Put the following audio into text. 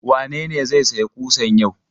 Wane ne zai sayo ƙusan yau?